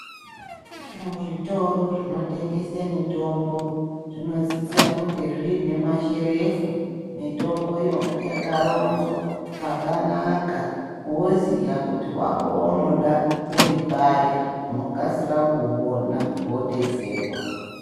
Muzvitoro zvinotengeswa mitombo zvinosisa kunge zvine masherefu mitomboyo yakaronzwa zvakanaka unoziva kuti wako waunoda uri pari unoksira kuuona wodetserwa.